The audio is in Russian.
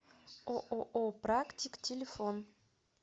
ооо практик телефон